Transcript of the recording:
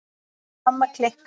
Mamma klikk!